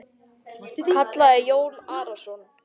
kallaði Jón Arason.